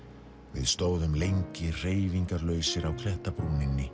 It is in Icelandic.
við stóðum lengi hreyfingarlausir á